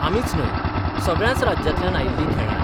आमीच न्हय, सगळ्याच राज्यांतल्यान आयिल्लीं खेळ्ळ्यांत.